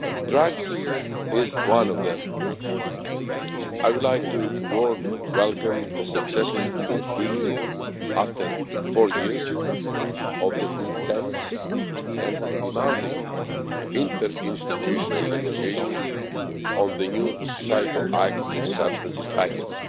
Drugs is one of these. I would like warmly to welcome the successful conclusion, after four years, of the intense and demanding interinstitutional negotiations on the New Psychoactive Substances Package.